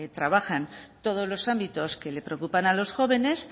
trabajan todos los ámbitos que les preocupan a los jóvenes